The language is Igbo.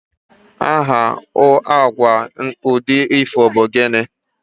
aha agwa udi ifo bu gini?